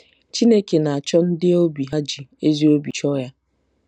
Chineke na-achọ ndị obi ha ji ezi obi chọọ Ya.